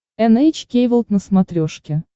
эн эйч кей волд на смотрешке